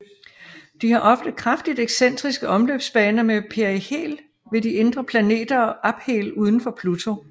De har ofte kraftigt excentriske omløbsbaner med perihel ved de indre planeter og aphel udenfor Pluto